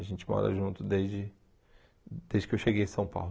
A gente mora junto desde desde que eu cheguei em São Paulo.